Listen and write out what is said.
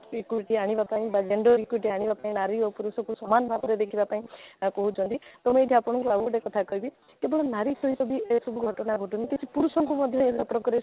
equity ଆଣିବା ପାଇଁ ବା gender equity ଆଣିବା ପାଇଁ ନାରୀ ଓ ପୁରୁଷକୁ ସମାନ ଭାବରେ ଦେଖିବା ପାଇଁ ଏହା କହୁଛନ୍ତି ତ ଏ ନେଇକି ଆପଣଙ୍କୁ ଆଉ ଗୋଟେ କଥା କହିବି କେବଳ ନାରୀ ସହିତ ବି ଏସବୁ ଘଟଣା ଘଟୁନି କି ପୁରୁଷଙ୍କୁ ମଧ୍ୟ ଏ ସମ୍ପର୍କରେ